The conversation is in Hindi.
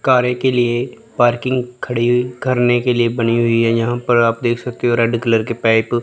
कारें के लिए पार्किंग खड़ी करने के लिए बनी हुई है यहां पर आप देख सकते हो रेड कलर के पैक --